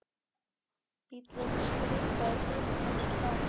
Bíllinn skrikaði til en nam svo staðar.